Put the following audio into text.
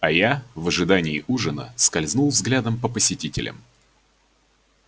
а я в ожидании ужина скользнул взглядом по посетителям